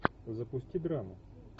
запусти драму